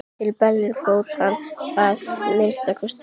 Til Berlínar fór hann að minnsta kosti ekki.